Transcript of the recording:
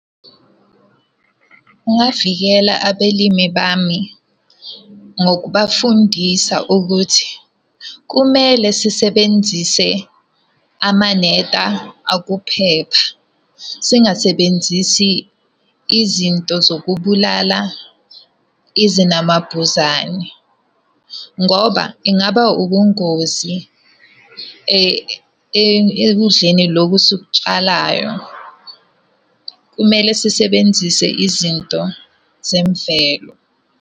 Kungavikela abelimi bami ngokubafundisa ukuthi kumele sisebenzise amaneta okuphepha. Singasebenzisi izinto zokubulala izinamabhuzane, ngoba ingaba ubungozi ekudleni lokhu esikutshalayo. Kumele sisebenzise izinto zemvelo.